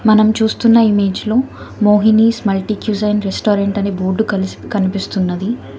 మనం చూస్తున్న ఇమేజ్ లో Mohini small teacher and restaurant ని బోర్డు కలిసి కనిపిస్తున్నది.